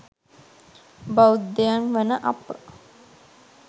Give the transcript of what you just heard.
බෞද්ධයන් වන අප,